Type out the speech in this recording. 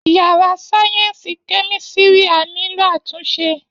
Yàrá sáyẹ́ǹsì kẹ́mísírì á nílò àtúnṣe